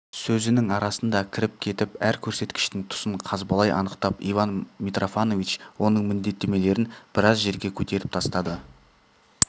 сөзінің арасында кіріп кетіп әр көрсеткіштің тұсын қазбалай анықтап иван митрофанович оның міндеттемелерін біраз жерге көтеріп тастады